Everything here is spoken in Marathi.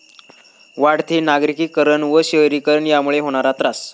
वाढते नागरिकीकरण व शहरीकरण यामुळे होणार त्रास